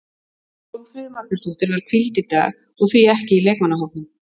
Hólmfríður Magnúsdóttir var hvíld í dag og því ekki í leikmannahópnum.